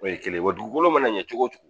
O ye kelen ye, wa dugukolo mana ɲɛ cogo o cogo